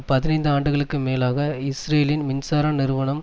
பதினைந்து ஆண்டுகளுக்கு மேலாக இஸ்ரேலின் மின்சார நிறுவனம்